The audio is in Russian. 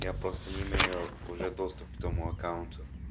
я просто не имею уже доступ к твоему аккаунту